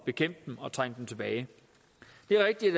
bekæmpe dem og trænge dem tilbage det er rigtigt